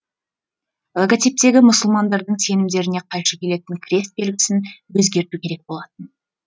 логотиптегі мұсылмандардың сенімдеріне қайшы келетін крест белгісін өзгерту керек болатын